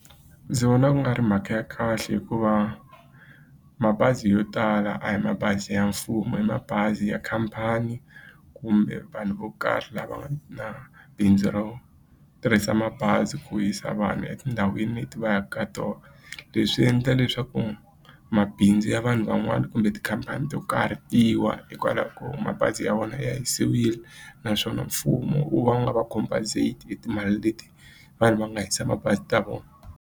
Ndzi vona ku nga ri mhaka ya kahle hikuva mabazi yo tala a hi mabazi ya mfumo i mabazi ya khampani kumbe vanhu vo karhi lava nga na bindzu ro tirhisa mabazi ku yisa vanhu etindhawini leti va yaka ka tona. Leswi endla leswaku mabindzu ya vanhu van'wani kumbe tikhampani to karhi hikwalaho ko mabazi ya vona ya hisile naswona mfumo wu va wu nga va compensate hi timali leti vanhu va nga hisa mabazi ta vona.